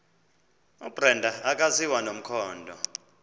ubrenda akaziwa nomkhondo